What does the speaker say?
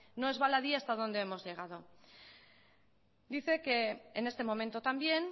no es baladí hasta donde hemos llegado dice que en este momento también